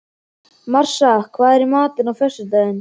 Marsa, hvað er í matinn á föstudaginn?